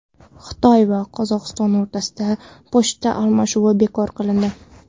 Xitoy va Qozog‘iston o‘rtasida pochta almashinuvi bekor qilindi.